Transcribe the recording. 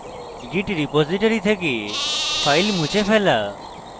git repository থেকে file মুছে ফেলা